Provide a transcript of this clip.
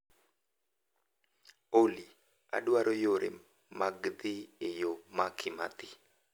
Olly, adwaro yore mag dhi e yo ma Kimathi